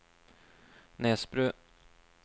Nesbru